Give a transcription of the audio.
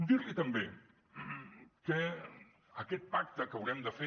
dir li també que aquest pacte que haurem de fer